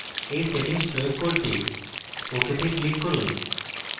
এই সেটিংস প্রয়োগ করতে ok তে click করুন